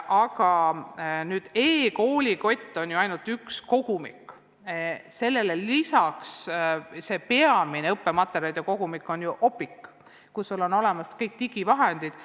E-koolikott on ju ainult üks kogumik, sellele lisaks on peamine õppematerjalide kogumik Opiq, kus on olemas kõik digivahendid.